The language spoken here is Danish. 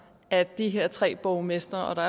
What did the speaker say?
at de her tre borgmestre og